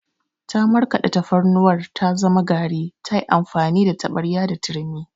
Ta markaɗe tafarnuwar ta zama gari ta amfani da taɓarya da turmi.